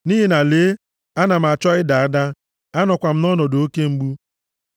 Nʼihi na lee, ana m achọ ịda ada. Anọkwa m nʼọnọdụ oke mgbu.